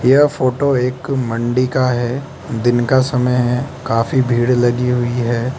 यह फोटो एक मंडी का है दिन का समय है काफी भीड़ लगी हुई है।